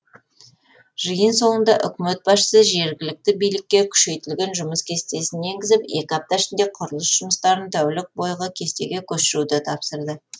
жиын соңында үкімет басшысы жергілікті билікке күшейтілген жұмыс кестесін енгізіп екі апта ішінде құрылыс жұмыстарын тәулік бойғы кестеге көшіруді тапсырды